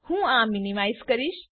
હું આ મીનીમાઈઝ કરીશ